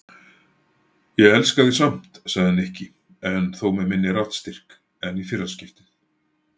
Ég elska þig samt sagði Nikki en þó með minni raddstyrk en í fyrra skiptið.